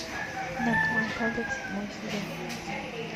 наркоман павлик седьмой сезон